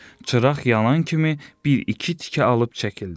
Çıraq yanan kimi bir-iki tikə alıb çəkildi.